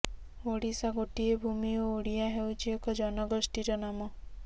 ଓଡ଼ିଶା ଗୋଟିଏ ଭୂମି ଓ ଓଡ଼ିଆ ହେଉଛି ଏକ ଜନଗୋଷ୍ଠୀର ନାମ